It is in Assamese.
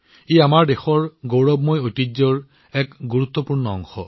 এয়া আমাৰ দেশৰ গৌৰৱময় ঐতিহ্যৰ এক গুৰুত্বপূৰ্ণ অংশ